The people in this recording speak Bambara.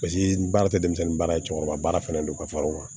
Paseke baara tɛ denmisɛnnin baara ye cɛkɔrɔba baara fɛnɛ don ka far'o kan